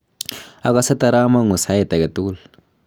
akose taramongu sait aketugul.